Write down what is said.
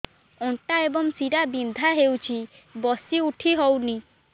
ଅଣ୍ଟା ଏବଂ ଶୀରା ବିନ୍ଧା ହେଉଛି ବସି ଉଠି ହଉନି